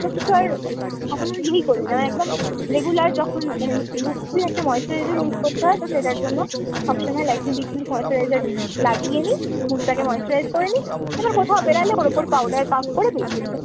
অন্য কিছু আর কখনো ই করিনা। একদম regular যখন মানে mostly একটা moisturizer use করতে হয় তো সেটার জন্য সবসময় Lakme peach milk moisturizer লাগিয়ে নি, মুখটাকে moisturize করে নি। এবার কোথাও বেরালে ওর ওপর powder puff করে বেরিয়ে যাই।